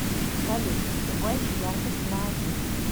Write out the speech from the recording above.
салют убавь яркость на один